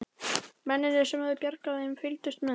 Mennirnir sem höfðu bjargað þeim fylgdust með.